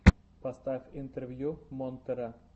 поставь интервью монтера